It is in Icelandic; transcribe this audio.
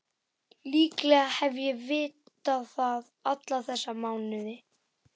Líklega hef ég vitað það alla þessa mánuði.